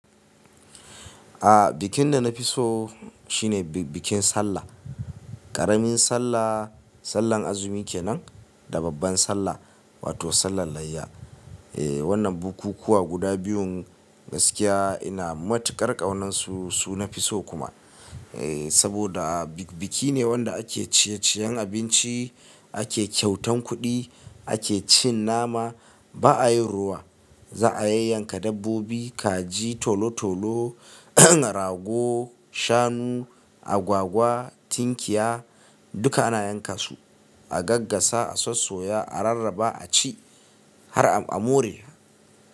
Aa bikin da na fi so shine bikin sallah. Ƙaramin sallah, sallar azumi kenan da babban sallah wato sallar layya. Eh wannan bukukuwa guda biyun gaskiya ina matuƙar ƙaunansu, su nafi so kuma. Eh saboda biki ne wanda ake ciye ciyen abinci, ake kyautan kuɗi, ake cin nama ba a yin rowa. Za a yayyanka dabbobi kaji tolo tolo, rago, shanu, agwagwa, tinkiya duka ana yanka su a gaggasa, a sossoya, a rarraba a ci har a more.